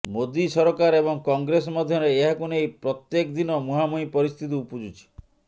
ମୋଦୀ ସରକାର ଏବଂ କଂଗ୍ରେସ ମଧ୍ୟରେ ଏହାକୁ ନେଇ ପ୍ରତ୍ୟେକ ଦିନ ମୁହାଁମୁହିଁ ପରିସ୍ଥିତି ଉପୁଜୁଛି